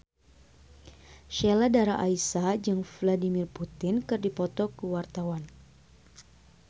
Sheila Dara Aisha jeung Vladimir Putin keur dipoto ku wartawan